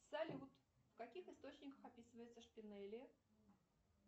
салют в каких источниках описывается шпинели